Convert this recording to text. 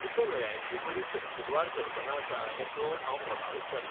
तुका न्हंयांची बरी तपशीलवार कल्पना आसा हें पळोवन हांव प्रभावीत जालां.